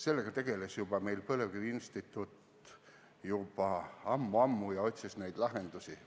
Sellega tegeles meie põlevkiviinstituut juba ammu-ammu ja otsis neid lahendusi.